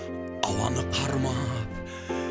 ауаны қармап